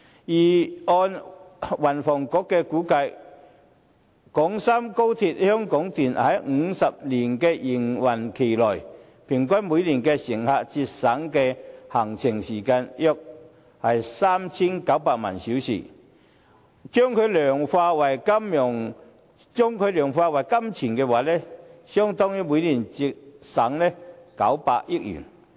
根據運輸及房屋局的估計，廣深港高鐵香港段在50年營運期內，平均每年可為乘客節省的行程時間約 3,900 萬小時，如果量化為金錢，相當於每年節省900億元。